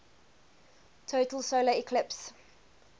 total solar eclipse